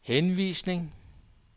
henvisning